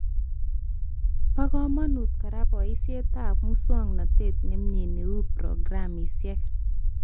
Ba kamangut kora boishetab muswonotet nemie neu programishek